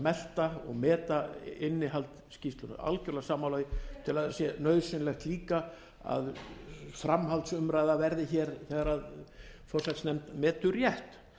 melta og meta innihald skýrslunnar ég er algjörlega sammála því ég tel að það sé nauðsynlegt líka að framhaldsumræða verði hér þegar forsætisnefnd metur rétt